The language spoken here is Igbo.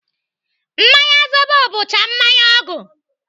Mmanya zobo bụkwa mmanya ọgwụ.